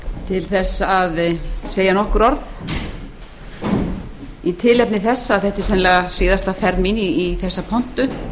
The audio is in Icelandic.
til að segja nokkur orð í tilefni þess að þetta er sennilega síðasta ferð mín í þessa pontu